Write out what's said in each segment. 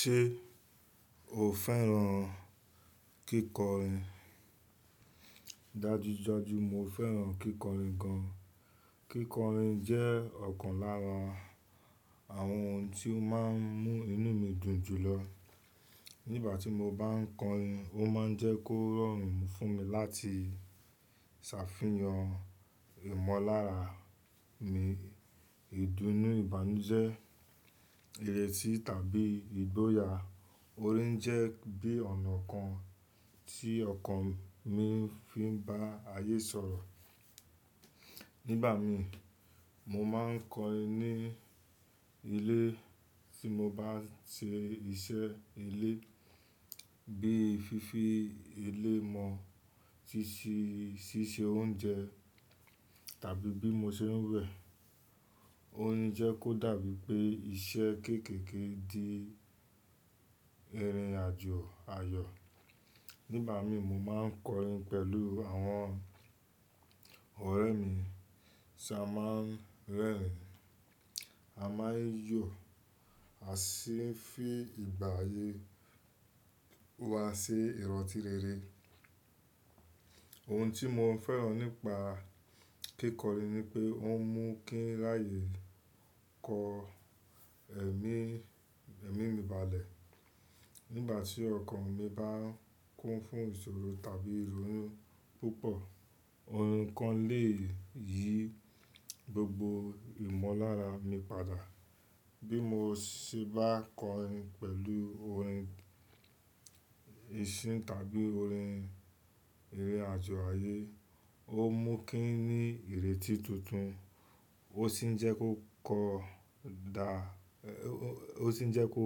Ṣé o fẹ́ràn kíkọrin? Dájúdájú mo fẹ́ràn kíkọrin gan. Kíkọrin jẹ́ ọ̀kan lára àwọn ohun tí ó máa ń mú inú mi dùn jù lọ. Nígbà tí mo bá ń kọrin, ó máa ń jẹ́ kó rọrùn fún mi láti ṣàfihàn ìmọ̀lára mi, ìdùnnú, ìbànújẹ́, ìrètí tàbí ìgboyà. Orin jẹ́ bí ọ̀nà kan tí ọkàn mi fi ń bá ayé sọ̀rọ̀. Nígbà mi, mo máa ń kọrin ní ilé tí mo bá ń ṣe iṣẹ́ ilé bíi fífi ilé mọ́, ṣíṣe oúnjẹ tàbí bí mo ṣe ń wẹ̀. Ó ń jẹ́ kó dàbí pé iṣẹ́ kéékèèké di ìrìnàjò ayọ̀. Nígbà mi, mo máa ń kọrin pẹ̀lú àwọn ọ̀rẹ́ mi. Ti a máa ń rẹ́rìn-ín, a máa ń yọ̀, a sì ń fi ìgbà ayé wa ṣi ìrọ́ntí rere. Ohun tí mo fẹ́ràn nípa kíkọrin ni pé ó mú kín láàyè kọ ẹ̀mí, ẹ̀mí mi balẹ̀. Nígbà tí ọkàn mi bá kún fún ìṣòro tàbí ìrònú púpọ̀, orin kan le yí gbogbo ìmọ̀lára mi padà. Bí mo ṣe bá kọrin pẹ̀lú orin ìsìn tàbí orin ìrìnàjò ayé, ó mú kín ní ìrètí tuntun, ó sì ń jẹ́ kó kọ dá, ó sì ń jẹ́ kó,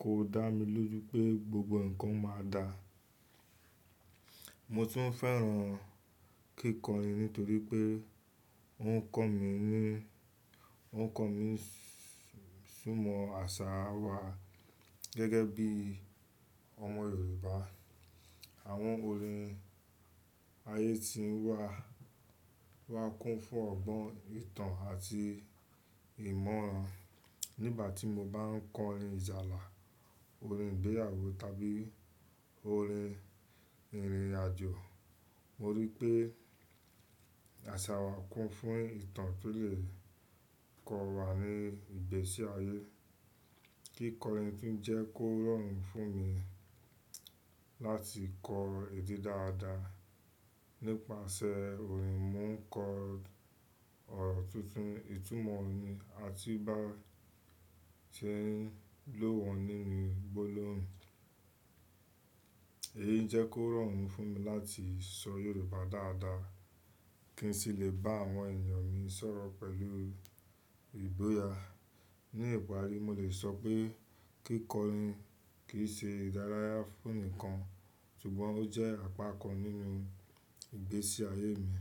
kó dá mi lójú pé gbogbo ǹkan máa dáa. Mo tún fẹ́ràn kíkọrin nítorí pé ó ń kọ́ mi ní, ó ń kọ́ mi súnmọ́ àṣà wa. Gẹ́gẹ́ bí ọmọ Yorùbá, àwọn orin ayé ti ń wá, wá kún fún ọgbọ́n ìtàn àti ìmọ̀ran. Nígbà tí mo bá ń kọrin ìjálá, orin ìgbéyàwó tàbí orin ìrìnàjò, mo rí pé àṣà wa kún fún ìtàn to lé kọ wa ní ìgbésí ayé. Kíkọrin fi ń jẹ́ kó rọrùn fún mi láti kọ èdè dáadáa. Nípasẹ̀ orin, mo ń kọ ọ̀rọ̀ tuntun, ìtumọ̀ ni àti ìbá ṣe é lọ́wọ́ nínú gbólóhùn. Èyi jẹ́ kó rọrùn fún mi láti sọ Yorùbá dáadáa kí n sì lè bá àwọn ènìyàn mi sọ̀rọ̀ pẹ̀lú ìgboyà. Ní ìparí, mo lè sọ pé kíkọrin kì í ṣe ìdárayá fún nìkan, ṣùgbọ́n ó jẹ́ àpá kan nínú ìgbésí ayé mi.